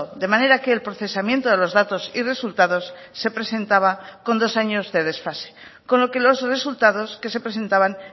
de manera que el procesamiento de los datos y resultados se presentaba con dos años de desfase con lo que los resultados que se presentaban